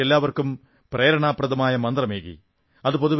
ബാപ്പു എല്ലാവർക്കും പ്രേരണാപ്രദമായ മന്ത്രമേകി